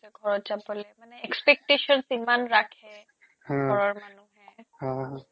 ঘৰত যাবলে মানে expectations ইমান ৰাখে হ ঘৰৰ মানুহে